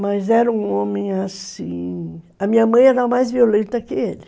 Mas era um homem assim... A minha mãe era mais violenta que ele.